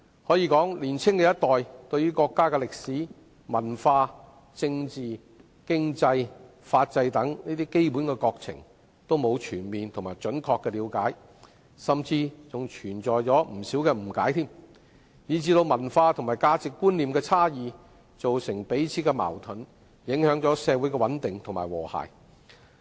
可以說，年輕一代對於國家的歷史、文化、政治、經濟、法制等基本國情均沒有全面和準確的了解，甚至還存在不少誤解，以致文化和價值觀念的差異造成彼此間的矛盾，影響了社會的穩定及和諧。